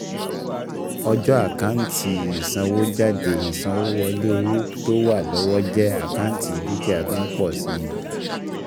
Ọjọ́ àkántì ìsanwójáde ìsanwówọlé owó tó wà lọ́wọ́ jẹ́ àkántì dúkìá tó ń pọ̀ si